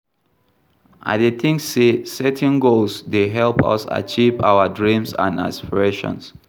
I dey think say setting goals dey help us achieve our dreams and aspirations.